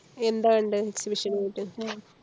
എന്താ കണ്ടേ exhibition പോയിട്ട്